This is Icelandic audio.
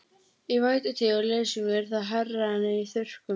Í vætutíð og leysingum er það hærra en í þurrkum.